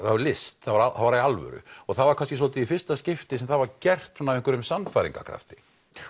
list það var í alvöru það var kannski svolítið í fyrsta skipti sem það var gert af einhverjum sannfæringarkrafti